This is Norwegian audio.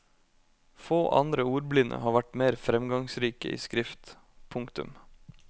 Få andre ordblinde har vært mer fremgangsrike i skrift. punktum